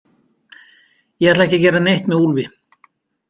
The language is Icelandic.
Ég ætla ekki að gera neitt með Úlfi.